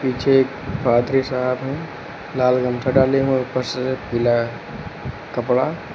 पीछे एक पादरी साहब है। लाल गमछा डाले हुए हैं ऊपर से पीला कपड़ा--